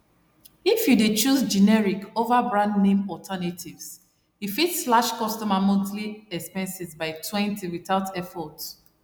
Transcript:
if you dey choose generic over brandname alternatives e fit slash consumer monthly expenses bytwentywithout effort